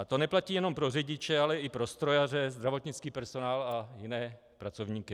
A to neplatí jenom pro řidiče, ale i pro strojaře, zdravotnický personál a jiné pracovníky.